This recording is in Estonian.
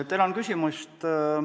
Tänan küsimast!